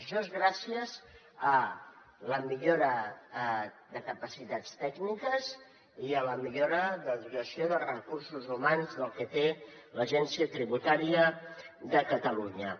això és gràcies a la millora de capacitats tècniques i a la millora de la dotació de recursos humans del que té l’agència tributària de catalunya